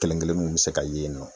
Kelen kelen mun be se ka ye yen nɔ.